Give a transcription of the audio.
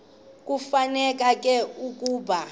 kufuneka ke ukuba